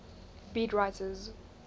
beat writers